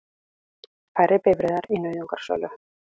Færri bifreiðar í nauðungarsölu